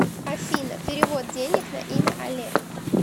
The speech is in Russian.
афина перевод денег на имя олег